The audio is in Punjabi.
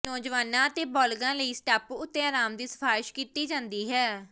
ਨੌਜਵਾਨਾਂ ਅਤੇ ਬਾਲਗਾਂ ਲਈ ਇਸ ਟਾਪੂ ਉੱਤੇ ਆਰਾਮ ਦੀ ਸਿਫਾਰਸ਼ ਕੀਤੀ ਜਾਂਦੀ ਹੈ